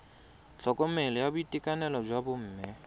tlhokomelo ya boitekanelo jwa bomme